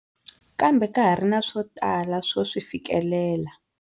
Kambe ka ha ri na swo tala swo swi fikelela.